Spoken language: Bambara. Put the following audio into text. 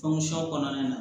kɔnɔna na